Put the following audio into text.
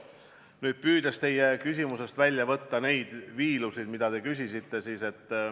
Nüüd püüan teie küsimusest välja võtta neid viilusid, mille kohta te küsisite.